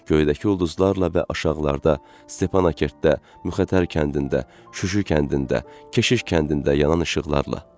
Göydəki ulduzlarla və aşağılarda Stepankertdə, Müxətər kəndində, Şuşu kəndində, Keşiş kəndində yanan işıqlarla.